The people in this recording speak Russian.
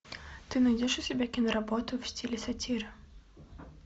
ты найдешь у себя киноработу в стиле сатиры